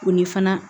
O ni fana